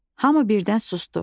Hamı birdən susdu.